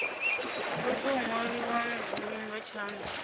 lo tou nwaliwaho nga tshanda